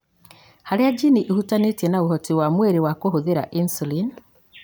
harĩa jini ĩhutanĩtie na ũhoti wa mwĩrĩ wa kũhũthĩra insulin.